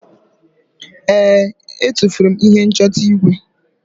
ee, e tufuru m ihe nchọta igwe